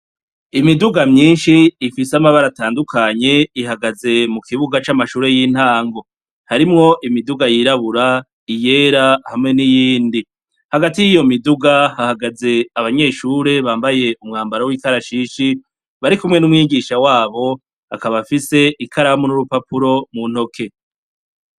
Imiduga nyinshi ifise abara atandukanye ihagaze mukibuga camashure yintango harimwo imiduga yirabura iyera hamwe niyindi hagati yiyo miduga hahagaze abanyeshure bambaye umwambaro wikarashishi barikumwe numwigisha wabo akaba afise ikaramu nurupapuro muntoki